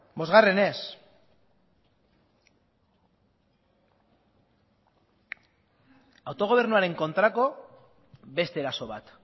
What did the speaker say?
bosgarrenez autogobernuaren kontrako beste eraso bat